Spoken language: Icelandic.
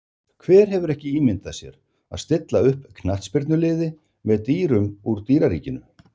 Hver hefur ekki ímyndað sér að stilla upp knattspyrnuliði með dýrum úr dýraríkinu?